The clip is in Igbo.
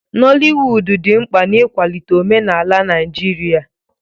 Noliwudu dị mkpa n'ịkwalite omenala Naijiria.